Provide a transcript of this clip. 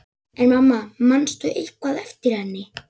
En mamma, manstu eitthvað eftir henni?